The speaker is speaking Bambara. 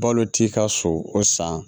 Balo t'i ka so o san